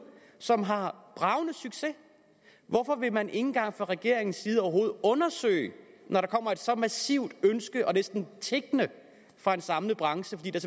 som har bragende succes hvorfor vil man ikke engang fra regeringens side overhovedet undersøge det når der kommer et så massivt ønske og næsten en tiggen fra en samlet branche fordi der